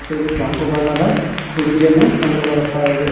ಮತ್ತು ಇಲ್ಲಿ ಕೆಂಪು ಬಣ್ಣದ ಕುಡ್ಜಿಯನ್ನು ಕಂಡು ಬರುತ್ತಾ ಇವೆ.